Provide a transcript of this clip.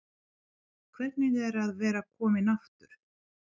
Hvernig er að vera kominn aftur?